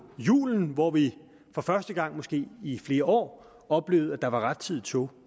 julen hvor vi for første gang måske i flere år oplevede at der var rettidige tog